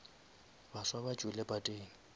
baswa ba tšwile pateng